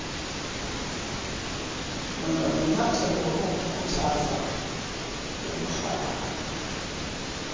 nangamanyathelo okukhuthaza ubuhlakani